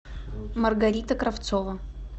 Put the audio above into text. маргарита кравцова